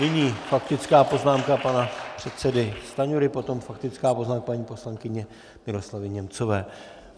Nyní faktická poznámka pana předsedy Stanjury, potom faktická poznámka paní poslankyně Miroslavy Němcové.